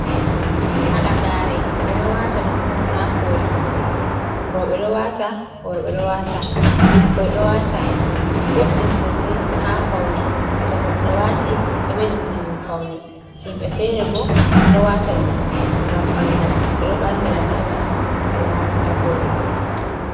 Halagare ɓe do wata ɗum hon ha koli. Roɓe ɗo wata, worbe ɗo wata, bikkoi ɗo wata. Boɗɗum sosai ha faune to goɗɗo wati ɗo beɗɗina ɗum fauni. Himbe fere bo ɗo wata ɗum ngam bangal, beɗo bangira be mai be wata ha koli mabbe.